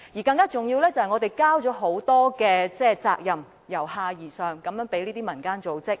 更重要的是，我們已將很多由下而上的責任交託給民間組織。